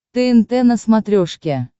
тнт на смотрешке